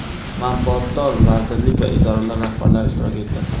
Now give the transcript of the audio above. manfaatdor vazirlik va idoralar rahbarlari ishtirok etdi.